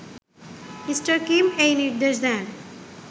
me: Kim এই নির্দেশ দেন